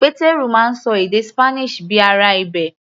Pétérù máa ń ṣọ èdè Spanish bíi ará ibẹ̀.